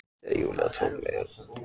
Þegar Júlía tók mig að sér í annað sinn.